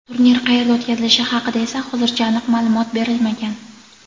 Turnir qayerda o‘tkazilishi haqida esa hozircha aniq ma’lumot berilmagan.